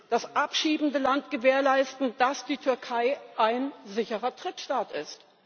das abschiebende Land gewährleisten muss, dass die Türkei ein sicherer Drittstaat ist.